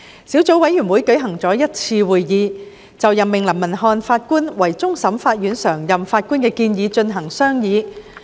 小組委員會舉行了一次會議，就任命林文瀚法官為終審法院常任法官的建議進行商議。